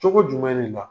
Cogo jumɛn de la